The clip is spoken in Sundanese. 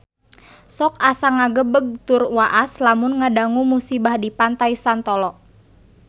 Sok asa ngagebeg tur waas lamun ngadangu musibah di Pantai Santolo